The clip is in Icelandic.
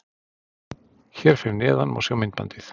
Hér fyrir neðan má sjá myndbandið